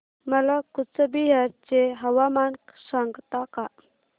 मला कूचबिहार चे हवामान सांगता का